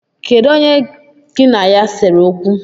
Kedụ onye gị na ya sere okwu?